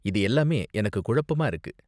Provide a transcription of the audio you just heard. இது எல்லாமே எனக்கு குழப்பமா இருக்கு.